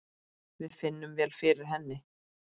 Við finnum vel fyrir henni.